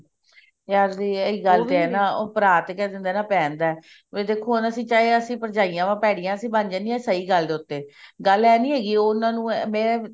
ਯਰ ਉਹੀ ਗੱਲ ਹੈ ਨਾ ਭਰਾ ਤਾਂ ਕਿਹ ਦਿੰਦਾ ਭੇਣ ਦਾ ਦੇਖੋ ਹੁਣ ਅਸੀਂ ਅਸੀਂ ਚਾਹੇ ਭਰਜਾਈਆਂ ਭੇੜੀਆਂ ਬਣ ਜਾਂਦੀਆਂ ਅਸੀਂ ਸਹੀ ਗੱਲ ਉੱਤੇ ਗੱਲ ਇਹ ਨੀ ਹੈਗੀ ਉਹਨਾ ਨੂੰ ਮੈਂ